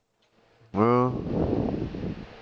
ਹਾਂ